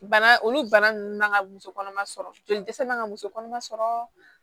Bana olu bana ninnu man ka muso kɔnɔma sɔrɔ joli dɛsɛ man ka muso kɔnɔma sɔrɔ